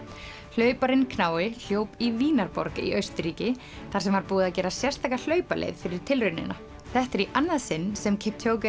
hlauparinn knái hljóp í Vínarborg í Austurríki þar sem var búið að gera sérstaka hlaupaleið fyrir tilraunina þetta er í annað sinn sem